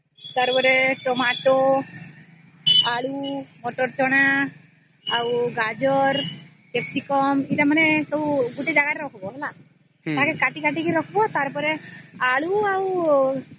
ତାର ପରେ Tomato ଆଳୁ ମଟର ଚଣା ଆଉ ଗାଜର capsicum ଏଟା ସବୁ ଗୋଟେ ଜାଗାରେ ରଖିବା ହେଲା ତାକୁ କାଟି କାଟିକି ରଖିବା ହେଲା ଆଉ ତାର ପରେ ଆଳୁ ଆଉ